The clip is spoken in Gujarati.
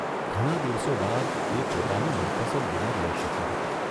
ઘણાં દિવસો બાદ એ પોતાનું મનપસંદ ડિનર લઇ શકી હતી.